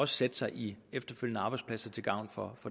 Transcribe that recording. sætte sig i arbejdspladser til gavn for